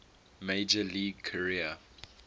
major league career